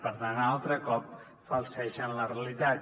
per anar altre cop falsegen la realitat